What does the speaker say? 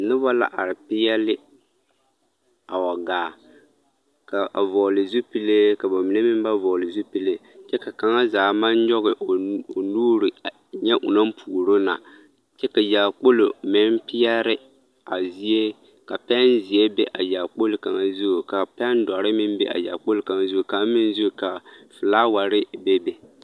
Noba la are peɛli a wa gaa ka a vɔgle zupile ka ba mine meŋ ba vɔgle zupile kyɛ ka kaŋa zaa maŋ nyɔge o nu o nuure a e ŋa o naŋ puoro na kyɛ ka yaakpolo meŋ peɛre a zie ka pɛnzeɛ be a yaakpolo kaŋa zu ka pɛndoɔre meŋ be a yaakpolo kaŋ zu kaŋ meŋ zu ka filaaware bebe.